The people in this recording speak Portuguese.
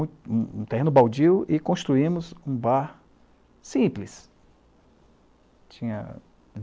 Um terreno baldio e construímos um bar simples. Tinha